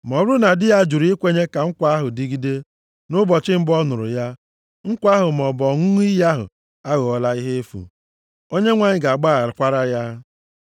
Ma ọ bụrụ na di ya jụrụ ikwenye ka nkwa ahụ dịgide nʼụbọchị mbụ ọ nụrụ ya, nkwa ahụ maọbụ ọṅụṅụ iyi ahụ aghọọla ihe efu. Onyenwe anyị ga-agbaghakwara ya.